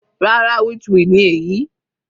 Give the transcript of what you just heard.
Rárá, witchweed ni èyí.